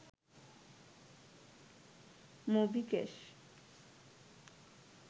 MobiCash